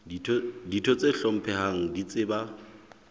ditho tse hlomphehang di tseba